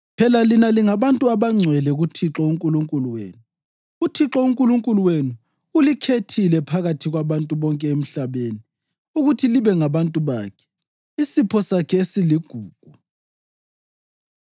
Phela lina lingabantu abangcwele kuThixo uNkulunkulu wenu. UThixo uNkulunkulu wenu ulikhethile phakathi kwabantu bonke emhlabeni ukuthi libe ngabantu bakhe, isipho sakhe esiligugu.